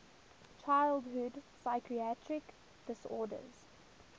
childhood psychiatric disorders